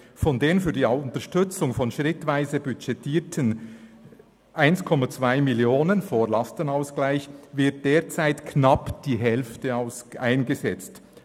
«Von den für die Unterstützung von schritt:weise budgetierten CHF 1.2 Mio. (vor Lastenausgleich) wird derzeit knapp die Hälfte eingesetzt.